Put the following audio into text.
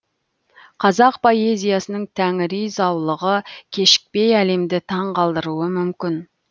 қазақ поэзиясының тәңіри заулығы кешікпей әлемді таңғалдыруы мүмкін